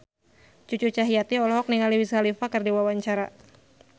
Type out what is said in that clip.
Cucu Cahyati olohok ningali Wiz Khalifa keur diwawancara